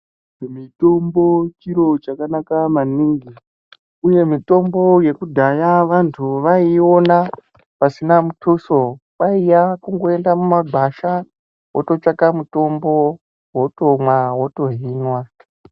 Mitombo chiro chakanaka maningi uye mitombo yekudhaya vantu waiiona pasina mutuso. Kwaiya kungoenda mumagwasha wototsvaka mutombo wotomwa wotohinwa.